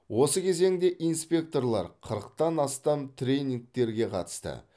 осы кезеңде инспекторлар қырықтан астам тренингтерге қатысты